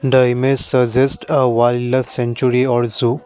the image suggest a wildlife centery also.